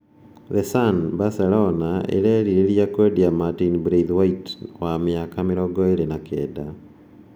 (The Sun) Barcelona ĩrerĩgĩria kwendia Martin Braithwaite, wa mĩaka 29.